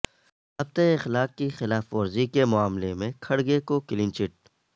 ضابطہ اخلاق کی خلاف ورزی کے معاملہ میں کھڑگے کو کلین چٹ